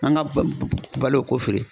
An ka balo k'o feere.